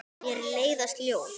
Mér leiðast ljóð.